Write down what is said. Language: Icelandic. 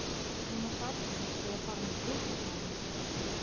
Núna sat hann og var farinn að titra smávegis.